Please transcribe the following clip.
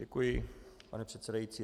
Děkuji, pane předsedající.